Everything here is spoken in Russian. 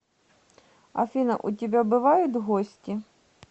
афина у тебя бывают гости